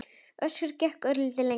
Össur gekk örlítið lengra.